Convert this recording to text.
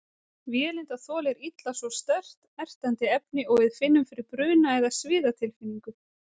Vélindað þolir illa svo sterkt, ertandi efni og við finnum fyrir bruna- eða sviðatilfinningu.